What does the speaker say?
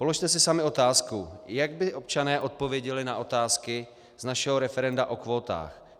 Položte si sami otázku, jak by občané odpověděli na otázky z našeho referenda o kvótách.